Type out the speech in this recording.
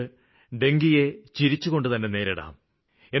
നമുക്ക് ഡെങ്കുവിനെ ചിരിച്ചുകൊണ്ട് നേരിടാം